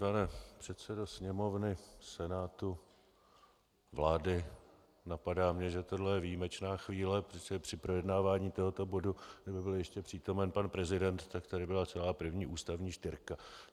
Pane předsedo Sněmovny, Senátu, vlády, napadá mě, že tohle je výjimečná chvíle, protože při projednávání tohoto bodu kdyby byl ještě přítomen pan prezident, tak tady byla celá první ústavní čtyřka.